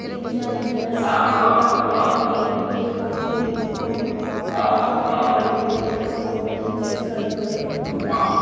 तीन चार चेयर्स लगी हुई हैं और एक टेबल पे काफी यूनिफॉर्म लिफाफों में पड़ी हुई हैं और दो टीचर्स खड़े हुए--